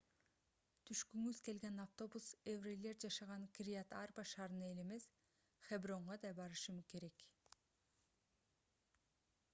түшкүңүз келген автобус еврейлар жашаган кирьят-арба шаарына эле эмес хебронго да барышы керек